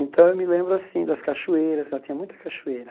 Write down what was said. Então, eu me lembro aassim das cachoeiras, lá tinha muita cachoeira.